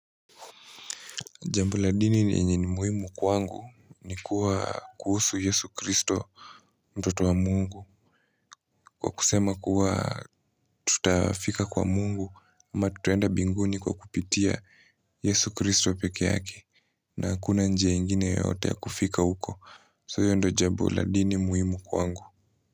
Jambo la dini ni yenye ni muhimu kwangu ni kuwa kuhusu Yesu Kristo mtoto wa mungu. Kwa kusema kuwa tutafika kwa mungu ama tutuenda binguni kwa kupitia Yesu Kristo peke yake na hakuna njia ingine yoyote ya kufika huko. So hiyo ndo jambo la dini muhimu kwangu.